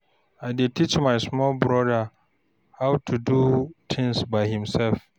I dey teach my small brother how to do things by himself.